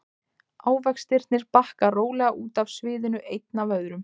Ávextirnir bakka rólega út af sviðinu einn af öðrum.